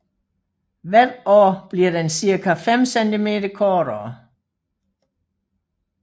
Hver år bliver den cirka 5 cm kortere